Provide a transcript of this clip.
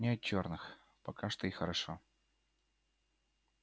нет чёрных пока что и хорошо